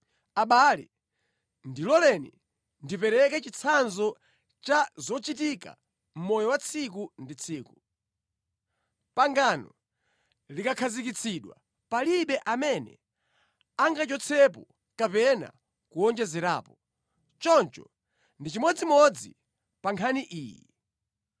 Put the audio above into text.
Abale, ndiloleni ndipereke chitsanzo cha zochitika mʼmoyo wa tsiku ndi tsiku. Pangano likakhazikitsidwa palibe amene angachotsepo kapena kuwonjezerapo, choncho ndi chimodzimodzi pa nkhani iyi.